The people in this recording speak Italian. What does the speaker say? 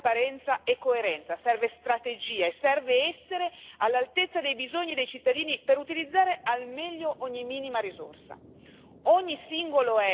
Servono visione, trasparenza e coerenza, serve strategia e serve essere all'altezza dei bisogni dei cittadini per utilizzare al meglio ogni minima risorsa.